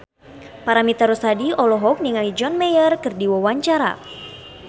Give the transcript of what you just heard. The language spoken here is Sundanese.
Paramitha Rusady olohok ningali John Mayer keur diwawancara